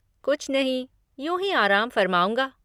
कुछ नहीं, यूँ ही आराम फ़रमाऊँगा।